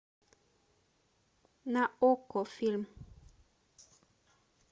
на окко фильм